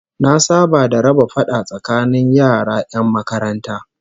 Na saba da raba fada tsakanin yara 'yan makaranta